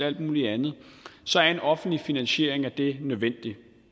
alt muligt andet så er en offentlig finansiering af det nødvendig